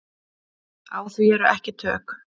Á því eru ekki tök.